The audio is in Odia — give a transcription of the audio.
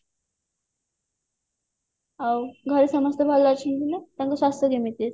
ଆଉ ଘରେ ସମସ୍ତେ ଭଲ ଅଛନ୍ତି ନା ତାଙ୍କ ସ୍ୱାସ୍ଥ୍ୟ କେମିତି ଅଛି